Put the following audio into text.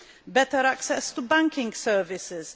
Better access to banking services